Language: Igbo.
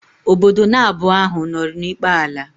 Ọbọdọ na abụọ áhù no n'ikpe ala